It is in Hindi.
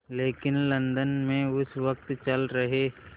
लेकिन लंदन में उस वक़्त चल रहे